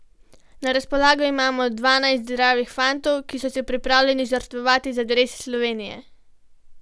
Na razpolago imamo dvanajst zdravih fantov, ki so se pripravljeni žrtvovati za dres Slovenije.